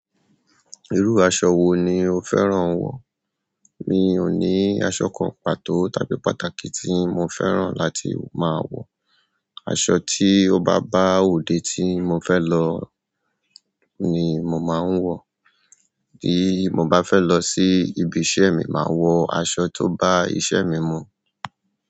Irú aṣọ wo ni o fẹ́ràn wọ̀? Mi ò ní aṣọ kan pàtó tàbí pàtàkì tí mo fẹ́ràn láti máa wọ̀. Aṣọ ti o ba ba ode ti mo fe lo ni mo maa n wo. Bí mo bá fẹ́ lọ sí ibi iṣẹ́ mi máa wọ aṣọ tó bá iṣẹ́ mi mu.